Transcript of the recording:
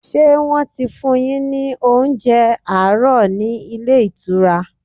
Ṣé wọ́n ti fún un yín ní oúnjẹ àárọ̀ ní ilé ìtura?